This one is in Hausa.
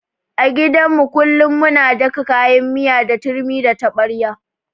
A gidan mu kullun muna daka kayan miya da turmi da taɓarya.